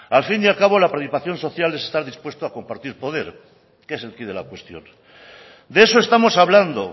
al fin y al cabo la participación social es estar dispuesto a compartir poder que es el quid de la cuestión de eso estamos hablando